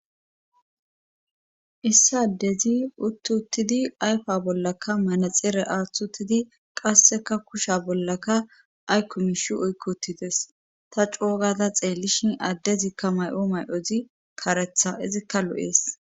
issi addezi uttuttidi ayfa bollaka manaxeere aaththutidi qasseka kusha bollaka aykkumish oykkotides ta coogada xeellishin addezikka may'o may'ozi karetha izikka lo'ees.